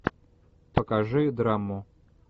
покажи драму